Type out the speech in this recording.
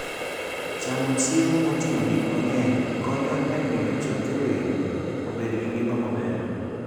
Chamo chiemo moting'o gik mang'eny konyo e miyo choke winy obed gi ngima maber.